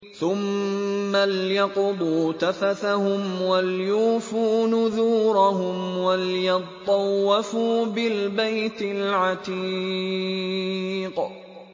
ثُمَّ لْيَقْضُوا تَفَثَهُمْ وَلْيُوفُوا نُذُورَهُمْ وَلْيَطَّوَّفُوا بِالْبَيْتِ الْعَتِيقِ